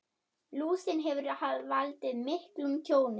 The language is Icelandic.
Lúsin hefur valdið miklu tjóni.